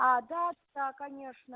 да так конечно